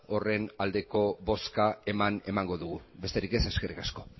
horren aldeko bozka eman emango dugu besterik ez eskerrik asko